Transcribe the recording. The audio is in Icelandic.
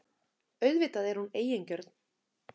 Auðvitað er hún eigingjörn.